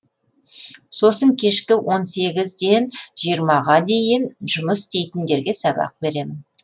сосын кешкі он сегізден жиырмаға дейін жұмыс істейтіндерге сабақ беремін